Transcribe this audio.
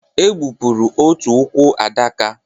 E bepụrụ otu ụkwụ Adaka